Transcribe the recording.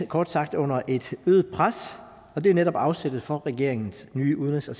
kort sagt under et øget pres og det er netop afsættet for regeringens nye udenrigs og